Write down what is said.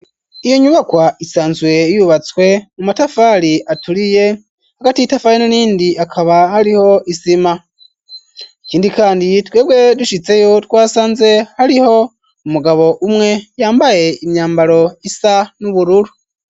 Iyo nyubakwa isanzwe yubatswe mu matafari aturiye, hagati y'itafari n'irindi hakaba hariho isima. Ikindi kandi twebwe dushitseyo, twasanze hariho umugabo umwe yambaye imyambaro isa n'ubururu.